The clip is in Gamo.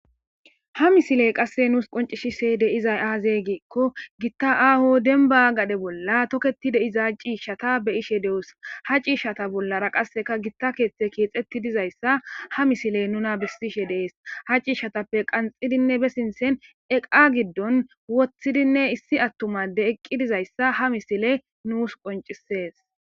Ha misiley qase nus qoncisizay axe gikon, gita ago demba gade bolla toketi uttida cishata be'ishe de'os ha cishata bollara qaseka guitar karethi kexetu dizaysa ha misiley nuna besishe dees. Ha cishatappe qanxidinne eqa gidon wothidi issi attuma adey iza matan dizaysa ha misiley besses.